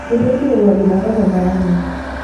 kitii enkirowaj inakop e miami